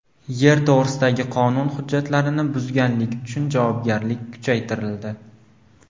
Yer to‘g‘risidagi qonun hujjatlarini buzganlik uchun javobgarlik kuchaytirildi.